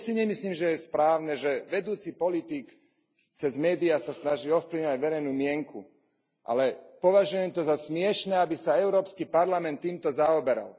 Tiež si nemyslím, že je správne, že vedúci politik sa cez médiá snaží ovplyvňovať verejnú mienku, ale považujem to za smiešne, aby sa Európsky parlament týmto zaoberal.